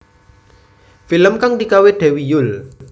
Film kang digawé Dewi Yull